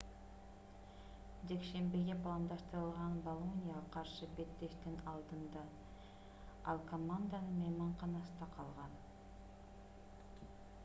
жекшембиге пландаштырылган болонияга каршы беттештин алдында ал команданын мейманканасында калган